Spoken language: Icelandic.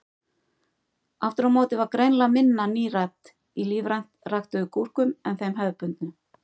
Aftur á móti var greinilega minna nítrat í lífrænt ræktuðum gúrkum en þeim hefðbundnu.